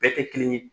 Bɛɛ tɛ kelen ye